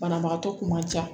Banabagatɔ kun ma ja